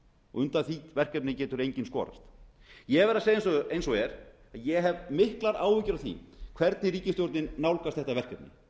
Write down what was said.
og undan því verkefni getur enginn skorast ég verð að segja eins og er að ég hef miklar áhyggjur af því hvernig ríkisstjórnin nálgast þetta verkefni